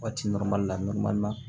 Waati la